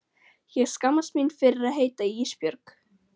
Ég skammast mín fyrir að heita Ísbjörg.